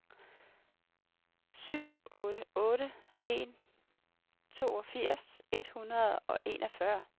syv otte otte en toogfirs et hundrede og enogfyrre